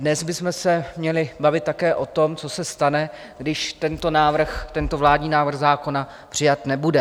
Dnes bychom se měli bavit také o tom, co se stane, když tento návrh, tento vládní návrh zákona přijat nebude.